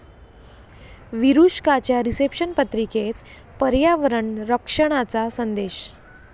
विरुष्काच्या reception पत्रिकेत पर्यावरण रक्षणाचा संदेश